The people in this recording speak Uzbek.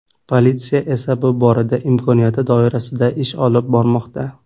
Politsiya esa bu borada imkoniyati doirasida ish olib bormoqda.